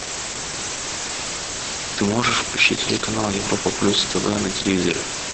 ты можешь включить телеканал европа плюс тв на телевизоре